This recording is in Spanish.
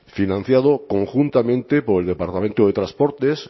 financiado conjuntamente por el departamento de transportes